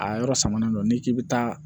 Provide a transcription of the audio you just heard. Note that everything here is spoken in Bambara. A yɔrɔ samanen don n'i k'i bɛ taa